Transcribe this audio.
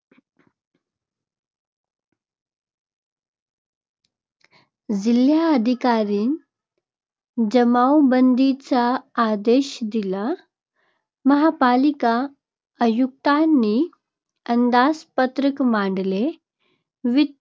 जिल्हाधिकाऱ्यांनी जमावबंदीचा आदेश दिला. महापालिका आयुक्तांनी अंदाजपत्रक मांडले. वित्त